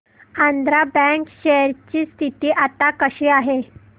Andhra bank share ची स्थिती आता कशी आहे